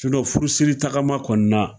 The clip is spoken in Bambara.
Sinɔ furusiri tagama kɔni na